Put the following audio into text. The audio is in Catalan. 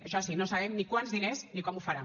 això sí no sabem ni quants diners ni com ho farà